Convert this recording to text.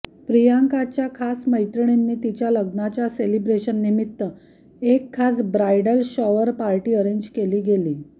प्रियंकाच्या खास मैत्रिनींनी तिच्या लग्नाच्या सेलिब्रेशननिमित्त एक खास ब्राइडल शॉवर पार्टी अरेंज केली गेली